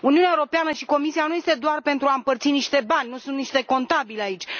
Uniunea Europeană și Comisia nu sunt doar pentru a împărți niște bani, nu sunt niște contabili aici.